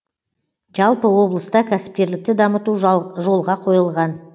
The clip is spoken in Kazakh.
жалпы облыста кәсіпкерлікті дамыту жолға қойылған